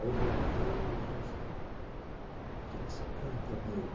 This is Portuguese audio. Aí eu voltei e ele falou assim, o que que você canta, meu?